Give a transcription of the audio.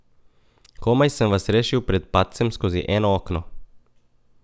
Komaj sem vas rešil pred padcem skozi eno okno.